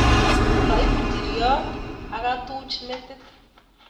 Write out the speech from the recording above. Kaib nchiriot akatuch metit